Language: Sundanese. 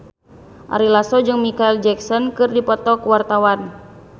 Ari Lasso jeung Micheal Jackson keur dipoto ku wartawan